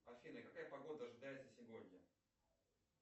афина какая погода ожидается сегодня